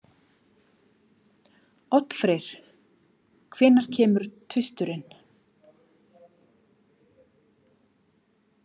Oddfreyr, hvenær kemur tvisturinn?